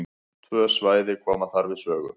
Tvö svæði koma þar við sögu.